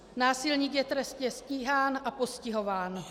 Násilník je trestně stíhán a postihován.